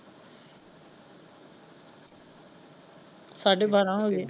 ਸਾਡੇ ਬਾਰ੍ਹਾਂ ਹੋਏ।